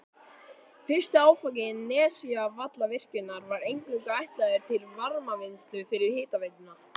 Fyrsti áfangi Nesjavallavirkjunar var eingöngu ætlaður til varmavinnslu fyrir hitaveituna.